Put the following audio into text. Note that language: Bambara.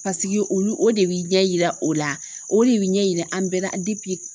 olu o de bi ɲɛ yira o la o de bi ɲɛ yira an bɛɛ la